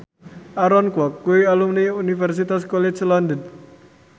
Aaron Kwok kuwi alumni Universitas College London